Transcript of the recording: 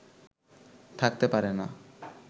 থাকতে পারে না